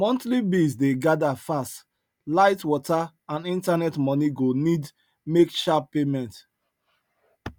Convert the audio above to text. monthly bills dey gather fast light water and internet money go need make sharp payment